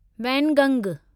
वैनगंग